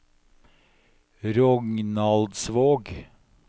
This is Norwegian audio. Rognaldsvåg